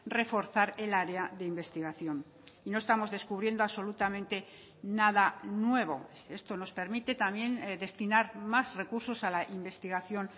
reforzar el área de investigación y no estamos descubriendo absolutamente nada nuevo esto nos permite también destinar más recursos a la investigación